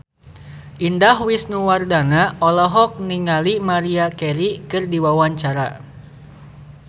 Indah Wisnuwardana olohok ningali Maria Carey keur diwawancara